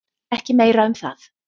Ekki meira um það.